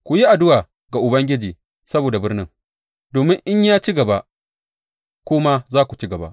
Ku yi addu’a ga Ubangiji saboda birnin, domin in ya ci gaba, ku ma za ku ci gaba.